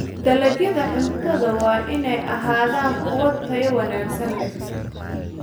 Dalagyada cuntadu waa inay ahaadaan kuwo tayo wanaagsan leh.